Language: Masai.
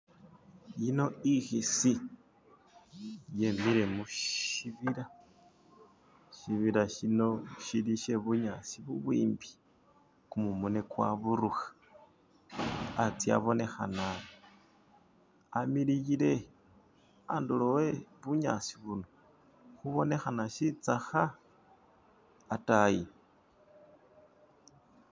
Iyino ikisi yimikile mushibila. Shibila shino shili she bunyasi ubwimpi gumumu nga gwadibuka, anze abonekana amilile. Kuntulo kwe bunyasi buno kubonekana shitsaka adani.